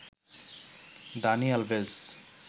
Dani Alves